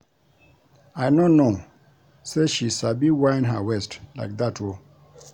I no know say she sabi whine her waist like dat oo